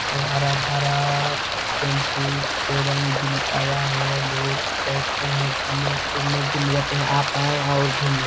अब हरा-भरा टेम्पू केरम भी लिपाया है लोग बैठते है घूमने फिरने के लिए आते है आप आए और घूमने--